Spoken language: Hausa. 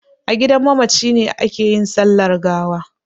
A gidan mamaci ne ake yin sallar gawa.